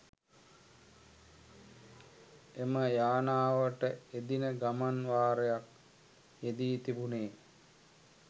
එම යානාවට එදින ගමන් වාරයක් යෙදී තිබුණේ